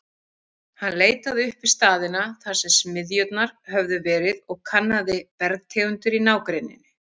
Hann leitaði upp staðina, þar sem smiðjurnar höfðu verið, og kannaði bergtegundir í nágrenninu.